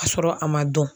Ka sɔrɔ a ma dɔn